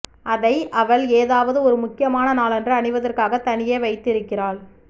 அதை அவள் ஏதாவது ஒரு முக்கியமான நாளன்று அணிவதற்காக தனியே வைத்திருக்கிறாள்